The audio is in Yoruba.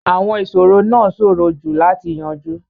Àwọn ìṣòro náà ṣòro jù láti yanjú.